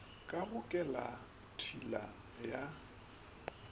ka go kelelat hila ya